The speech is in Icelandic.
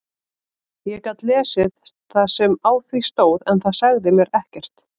Ég gat lesið það sem á því stóð en það sagði mér ekkert.